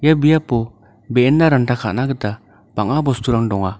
ia biapo be·enna ranta ka·na gita bang·a bosturang donga.